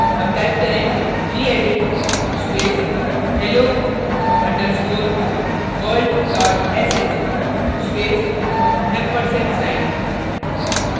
अब type करें gedit space hello underscore world dot sh space & ampersand sign